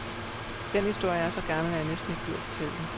Den historie er så gammel, at jeg næsten ikke gider fortælle den.